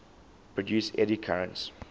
produce eddy currents